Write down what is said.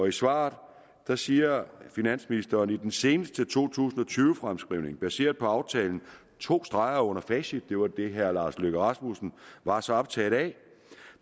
i svaret siger finansministeren i den seneste to tusind og tyve fremskrivning baseret på aftalen to streger under facit det var det herre lars løkke rasmussen var så optaget af